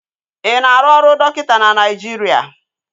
Ị na-arụ ọrụ dọkịta na Naịjiria?